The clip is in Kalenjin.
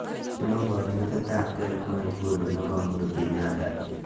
ainon kochutet ab gee nepo nguni nepo uhuru kenyatta